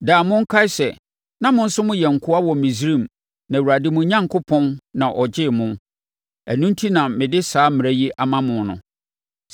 Daa monkae sɛ, na mo nso moyɛ nkoa wɔ Misraim na Awurade, mo Onyankopɔn, na ɔgyee mo. Ɛno enti na mede saa mmara yi ama mo no.